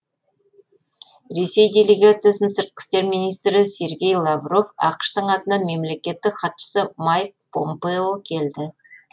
ресей делегациясын сыртқы істер министрі сергей лавров ақш тың атынан мемлекеттік хатшысы майк помпео келді